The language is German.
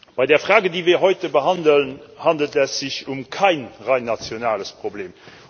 Bei der Frage, die wir heute behandeln, handelt es sich um kein rein nationales Problem.